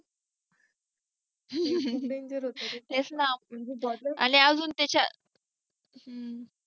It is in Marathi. danger होत ते. तेच ना आणि अजून तच्यात